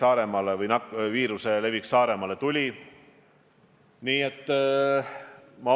Ja kindlasti eeskätt just Politsei- ja Piirivalveamet neid hinnanguid annab.